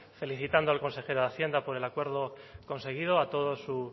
felicitando al consejero de hacienda por el acuerdo conseguido a todo su